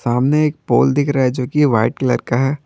सामने एक पोल दिख रहा है जो कि वाइट कलर का है।